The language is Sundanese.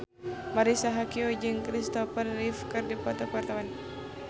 Marisa Haque jeung Kristopher Reeve keur dipoto ku wartawan